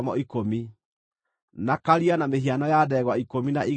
na Karia na mĩhiano ya ndegwa ikũmi na igĩrĩ rungu rwako;